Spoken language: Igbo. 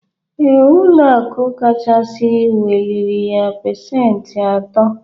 Ee, ụlọakụ kachasị weliriya pesenti ato.